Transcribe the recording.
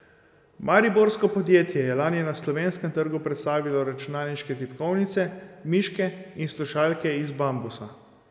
Mariborsko podjetje je lani na slovenskem trgu predstavilo računalniške tipkovnice, miške in slušalke iz bambusa.